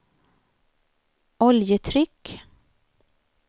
oljetryck